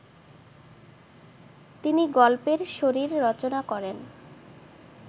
তিনি গল্পের শরীর রচনা করেন